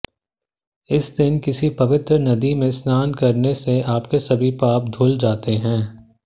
इस दिन किसी पवित्र नदी में स्नान करने से आपके सभी पाप धूल जाते है